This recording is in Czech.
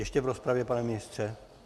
Ještě v rozpravě, pane ministře?